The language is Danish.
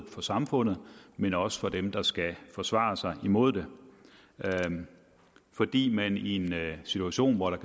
for samfundet men også for dem der skal forsvare sig imod det fordi man i en situation hvor der